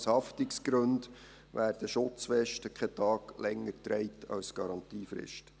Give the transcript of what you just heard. Aus Haftungsgründen werden Schutzwesten keinen Tag länger getragen als die Garantiefrist.